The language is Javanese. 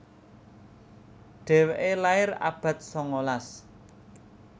Dhéwéké lair abad sangalas